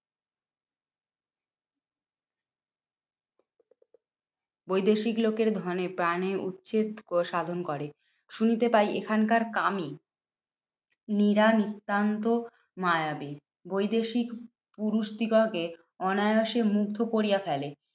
বৈদেশিক লোকের ধনে প্রাণে উচ্ছেদ সাধন করে। শুনিতে পাই, এখানকার কামি নি রা নিত্যান্ত মায়াবী। বৈদেশিক পুরুষদিগকে অনায়াসে মুগ্ধ কোরিয়া ফেলে।